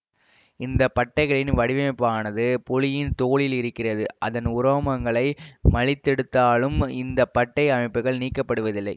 இந்த பட்டைகளின் வடிவமைப்பானது புலியின் தோலில் இருக்கிறது அதன் உரோமங்களை மழித்தெடுத்தாலும் இந்த பட்டை அமைப்புகள் நீக்கப்படுவதில்லை